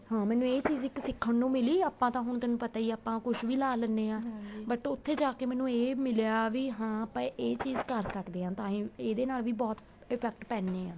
ਹਾਂ ਮੈਨੂੰ ਇਹ ਚੀਜ਼ ਸਿੱਖਣ ਨੂੰ ਮਿਲੀ ਆਪਾਂ ਤਾਂ ਤੈਨੂੰ ਕੁੱਛ ਵੀ ਲਾਹ ਲੈਂਣੇ ਹਾਂ but ਉੱਥੇ ਜਾਕੇ ਇਹ ਮਿਲਿਆਂ ਵੀ ਹਾਂ ਇਹ ਚੀਜ਼ ਕਰ ਸਕਦੇ ਹਾਂ ਤਾਹੀ ਇਹਦੇ ਨਾਲ ਵੀ ਬਹੁਤ effect ਪੈਣੇ ਆ